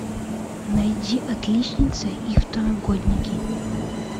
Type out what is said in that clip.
найди отличница и второгодники